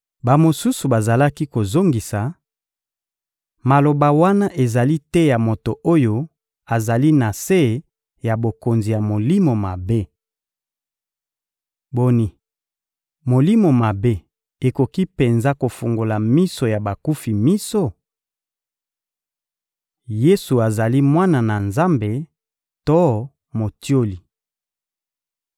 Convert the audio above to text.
Bamosusu bazalaki kozongisa: — Maloba wana ezali te ya moto oyo azali na se ya bokonzi ya molimo mabe! Boni, molimo mabe ekoki penza kofungola miso ya bakufi miso? Yesu azali Mwana na Nzambe to motioli